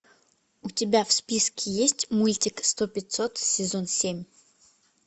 у тебя в списке есть мультик сто пятьсот сезон семь